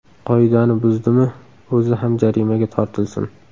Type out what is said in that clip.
Qoidani buzdimi o‘zi ham jarimaga tortilsin.